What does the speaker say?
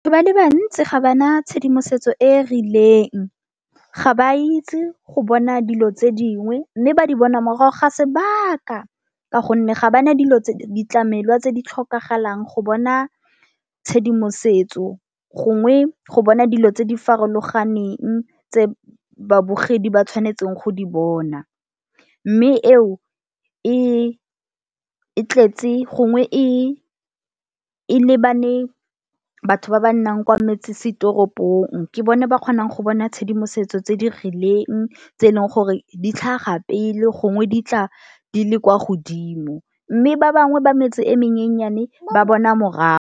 Ba le bantsi ga ba na tshedimosetso e e rileng, ga ba itse go bona dilo tse dingwe mme ba di bona morago ga sebaka ka gonne ga ba ne dilo tse, di tlamelwa tse di tlhokagalang go bona tshedimosetso gongwe go bona dilo tse di farologaneng tse babogedi ba tshwanetseng go di bona. Mme eo e e tletse gongwe e e lebane batho ba ba nnang ko metsesetoropong, ke bone ba kgonang go bona tshedimosetso tse di rileng tse e leng gore ditlhaga pele gongwe di tla di le kwa godimo mme ba bangwe ba metse e menyennyane ba bona morago.